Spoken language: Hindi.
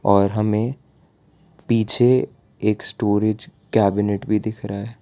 और हमें पीछे एक स्टोरेज कैबिनेट भीं दिख रहा --